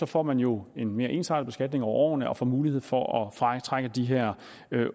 får man jo en mere ensartet beskatning over årene og får mulighed for at fratrække de her